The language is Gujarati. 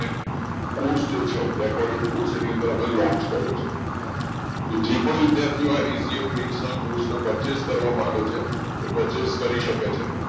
course જે છે recorderd course એની અંદર અમે launch કર્યો છે કે જે પણ વિદ્યાર્થીઓ હોય એસીએફ means ના course purchase કરવા માંગે છે એ પરચેસ કરી શકે છે